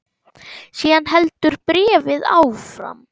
Síðan heldur bréfið áfram